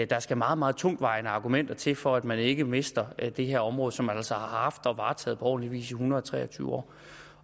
der skal meget meget tungtvejende argumenter til for at man ikke mister det her område som man altså har haft og varetaget på ordentlig vis i en hundrede og tre og tyve år